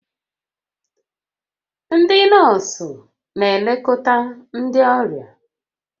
Ndị nọọsụ na-elekọta ndị ọrịa